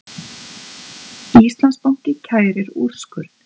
Íslandsbanki kærir úrskurð